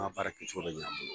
A ka baara kɛ cogo bɛ ɲan a bolo.